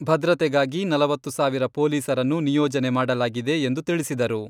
ಭದ್ರತೆಗಾಗಿ ನಲವತ್ತು ಸಾವಿರ ಪೊಲೀಸರನ್ನು ನಿಯೋಜನೆ ಮಾಡಲಾಗಿದೆ ಎಂದು ತಿಳಿಸಿದರು.